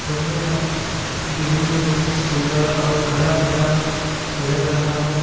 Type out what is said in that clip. और यह दिखने में बहुत सुंदर और हरा-भरा लग रहा है।